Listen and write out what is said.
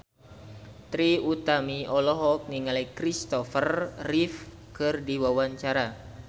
Trie Utami olohok ningali Kristopher Reeve keur diwawancara